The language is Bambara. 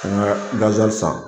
An ka san